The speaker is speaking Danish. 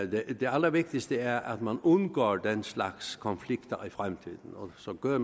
det allervigtigste er at man undgår den slags konflikter i fremtiden og så gør